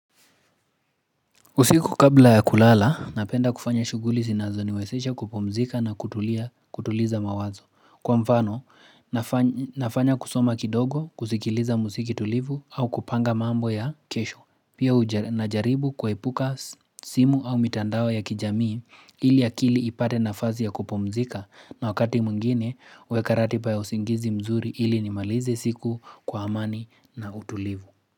Usiku kabla ya kulala, napenda kufanya shughuli zinazoniwezesha kupomzika na kutuliza mawazo. Kwa mfano, nafanya kusoma kidogo, kusikiliza musiki tulivu au kupanga mambo ya kesho. Pia najaribu kuepuka simu au mitandao ya kijamii ili akili ipate nafazi ya kupumzika na wakati mwingine huweka ratiba ya usingizi mzuri ili nimalizi siku kwa amani na utulivu.